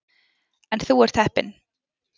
En þú ert heppinn.